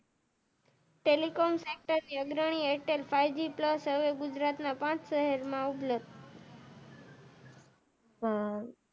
telecom centre ના અગ્રણી Airtel five G plus હવે ગુજરાત ના પાંચ શહેર માં ઉપલબ્દ,